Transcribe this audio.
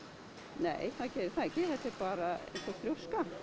nei það gerir það ekki þetta er bara einhver þrjóska